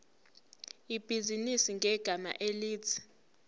ibhizinisi ngegama elithi